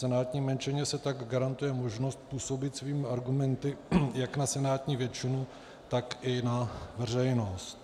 Senátní menšině se tak garantuje možnost působit svými argumenty jak na senátní většinu, tak i na veřejnost.